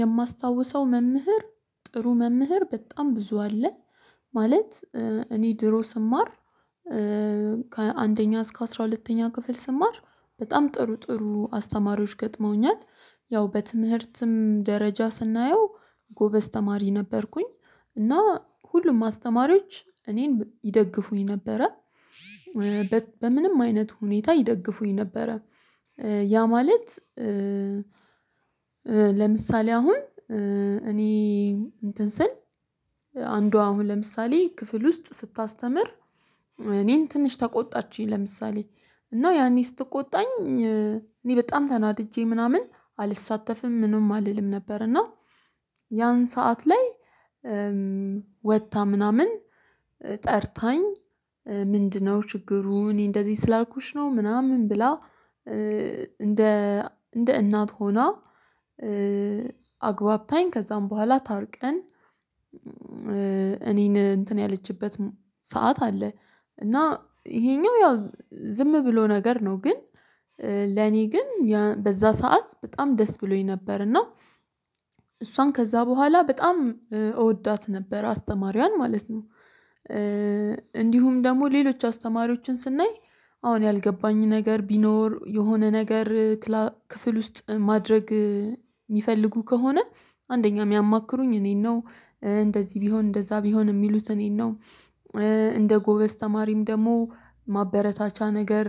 የማስታውሰው መምህር ጥሩ መምህር በጣም ብዙ አለ። ማለት እኔ ድሮ ስማር። ከአንደኛ እስከ አስራ ሁለተኛ ክፍል ስማር በጣም ጥሩ ጥሩ አስተማሪዎች ገጥመውኛል። ያው በትምህርትም ደረጃ ስናየው ጎበዝ ተማሪ ነበርኩኝ። እና ሁሉም አስተማሪዎች እኔን ይደግፉኝ ነበረ። በምንም አይነት ሁኔታ ይደግፉኝ ነበረ። ያ ማለት ለምሳሌ አሁን እኔ እንትን ስል አንዷ አሁን ለምሳሌ ክፍል ውስጥ ስታስተምር። እኔን ትንሽ ተቆጣችኝ ለምሳሌ እና ያኔ ስትቆጣኝ እኔ በጣም ተናድጄ ምናምን አልሳተፍም ምንም አልልም ነበር። እና ያን ሰዓት ላይ ወታ ምናምን ጠርታኝ ምንድነው ችግሩ? እኔ እንደዚህ ስላልኩሽ ነው ምናምን ብላ። እንደ እንደ እናት ሆና አግባብታኝ ከዛም በኋላ ታርቀን። እኔን እንትን ያለችበት ሰዓት አለ። እና ይሄኛው ያው ዝም ብሎ ነገር ነው። ግን ለኔ ግን በዛ ሰዓት በጣም ደስ ብሎኝ ነበር። እና እሷን ከዛ በኋላ በጣም እወዳት ነበር አስተማሪዋን ማለት ነው። እንዲሁም ደግሞ ሌሎች አስተማሪዎችን ስናይ አሁን ያልገባኝ ነገር ቢኖር የሆነ ነገር ክፍል ውስጥ ማድረግ የሚፈልጉ ከሆነ። አንደኛ የሚያማክሩኝ እኔን ነው እንደዚህ ቢሆን እንደዛ ቢሆን የሚሉት እኔን ነው። እንደ ጎበዝ ተማሪም ደግሞ ማበረታቻ ነገር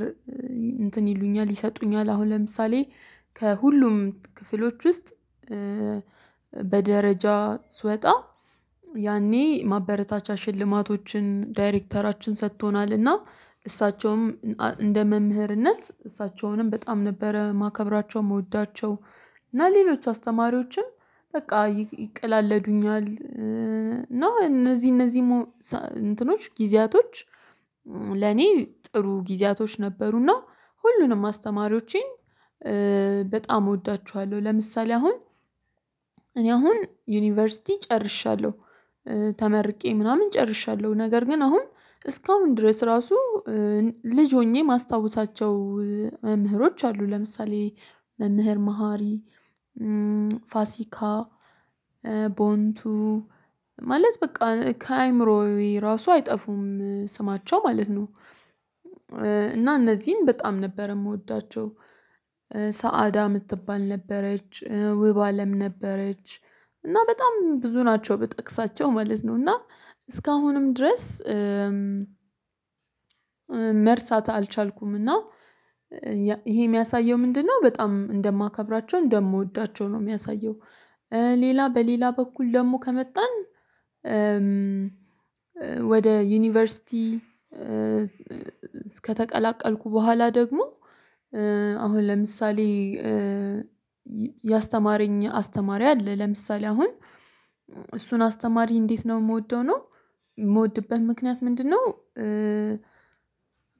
እንትን ይሉኛል ይሰጡኛል። አሁን ለምሳሌ ከሁሉም ክፍሎች ውስጥ በደረጃ ስወጣ ያኔ ማበረታቻ ሽልማቶችን ዳይሬክተራችን ሰጥቶናል። እና እሳቸውም እንደ መምህርነት እሳቸውንም በጣም ነበረ ማከብራቸውን የምወዳቸው እና ሌሎች አስተማሪዎችን በቃ ይቅለለዱኛል። እና እነዚህ እነዚህ እንትኖች ጊዜያቶች ለኔ ጥሩ ጊዜያቶች ነበሩና። ሁሉንም አስተማሪዎቼን በጣም እወዳችኋለሁ። ለምሳሌ አሁን እኔ አሁን ዩኒቨርሲቲ ጨርሻለሁ ተመርቄ ምናምን ጨርሻለሁ። ነገር ግን አሁን እስካሁን ድረስ ራሱ ልጅ ሆኜ ማስታወሳቸው መምህሮች አሉ። ለምሳሌ መምህር መሃሪ ፋሲካ ቦንቱ ማለት በቃ ከአእምሮዬ ራሱ አይጠፉም ስማቸው ማለት ነው። እና እነዚህም በጣም ነበር የምወዳቸው ሳአዳ የምትባል ነበረች ውብ አለም ነበረች። እና በጣም ብዙ ናቸው ብጠቅሳቸው ማለትነው። እና እስካሁንም ድረስ መርሳት አልቻልኩም። አልቻልኩምና ይሄ የሚያሳየው ምንድነው? በጣም እንደማከብራቸው እንደምወዳቸው ነው የሚያሳየው። ሌላ በሌላ በኩል ደግሞ ከመጣን ወደ ዩኒቨርሲቲ እስከተቀላቀልኩ በኋላ ደግሞ አሁን ለምሳሌ ያስተማረኝ አስተማሪ አለ ለምሳሌ አሁን እሱን አስተማሪ እንዴት ነው የምወደው ነው የምወድበት ምክንያት ምንድነው?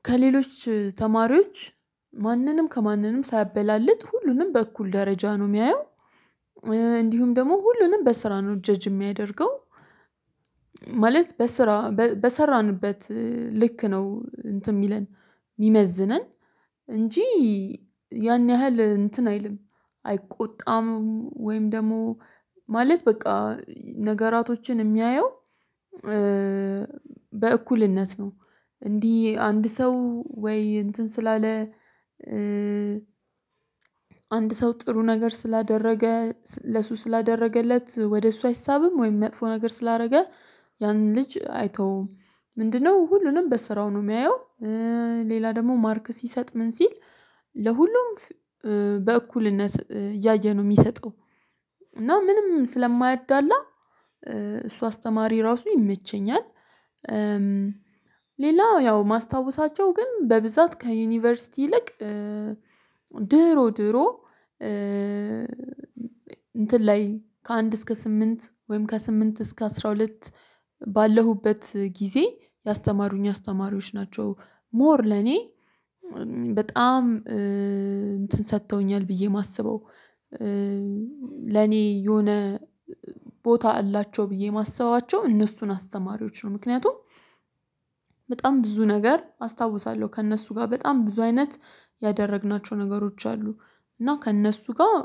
ከሌሎች ተማሪዎች ማንንም ከማንንም ሳያበላልጥ ሁሉንም በእኩል ደረጃ ነው የሚያየው። እንዲሁም ደግሞ ሁሉንም በስራ ነው ጀጅ የሚያደርገው። ማለት በስራ በሰራንበት ልክ ነው እንትን የሚለን የሚመዝነን። እንጂ ያን ያህል እንትን አይልም። አይቆጣምም ወይም ደግሞ ማለት በቃ ነገራቶችን የሚያየው በእኩልነት ነው። እንዲህ አንድ ሰው ወይ እንትን ስላለ። አንድ ሰው ጥሩ ነገር ስላደረገ ለሱ ስላደረገለት ወደ እሱ አይሳብም ወይም የሚያጥፉ ነገር ስላደረገ ያንን ልጅ አይተውም። ምንድነው ሁሉንም በስራው ነው የሚያየው። ሌላ ደግሞ ማርክ ሲሰጥ ምን ሲል ለሁሉም በእኩልነት እያየ ነው የሚሰጠው። እና ምንም ስለማያዳላ እሱ አስተማሪ ራሱ ይመቸኛል። ሌላው ያው ማስታወሳቸው ግን በብዛት ከዩኒቨርሲቲ ይልቅ ድሮ ድሮ እንትን ላይ ከአንድ እስከ ስምንት ወይም ከስምንት እስከ አስራ ሁለት ባለሁበት ጊዜ ያስተማሩኝ አስተማሪዎች ናቸው። ሞር ለኔ በጣም እንትን ሰጥተውኛል ብዬ የማስበው። ለኔ የሆነ ቦታ አላቸው ብዬ የማስባቸው እነሱን አስተማሪዎች ነው። ምክንያቱም በጣም ብዙ ነገር አስታውሳለሁ ከእነሱ ጋር በጣም ብዙ አይነት ያደረግናቸው ነገሮች አሉ። እና ከእነሱ ጋር